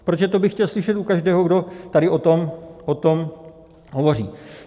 Protože to bych chtěl slyšet u každého, kdo tady o tom hovoří.